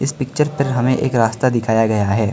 इस पिक्चर तर हमें एक रास्ता दिखाया गया है।